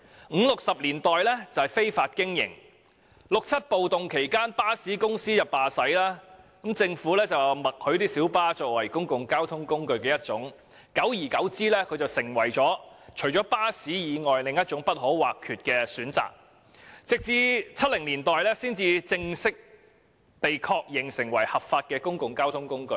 五六十年代屬於非法經營，在六七暴動期間巴士公司罷駛，政府便默許小巴作為其中一種公共交通工具，久而久之小巴成為巴士以外不可或缺的選擇，到了1970年代才正式被確認成為合法的公共交通工具。